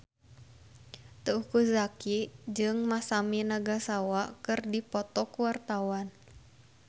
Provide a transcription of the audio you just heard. Teuku Zacky jeung Masami Nagasawa keur dipoto ku wartawan